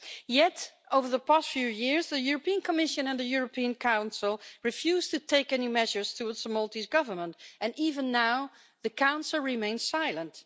Yet over the past few years, the European Commission and the European Council refused to take any measures against the Maltese Government, and even now the Council remains silent.